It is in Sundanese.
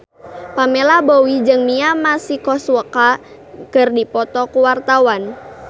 Pamela Bowie jeung Mia Masikowska keur dipoto ku wartawan